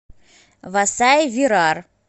васаи вирар